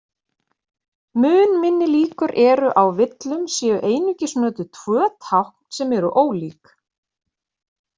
Mun minni líkur eru á villum séu einungis notuð tvö tákn sem eru ólík.